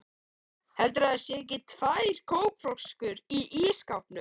HELDURÐU AÐ ÞAÐ SÉU EKKI TVÆR KÓKFLÖSKUR Í ÍSSKÁPNUM!